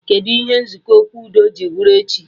Kedụ ihe nzukọ okwu udo ji bụrụ echi